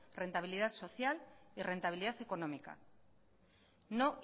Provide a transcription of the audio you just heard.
rentabilidad social y rentabilidad económica no